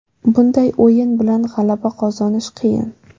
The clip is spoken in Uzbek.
Bunday o‘yin bilan g‘alaba qozonish qiyin.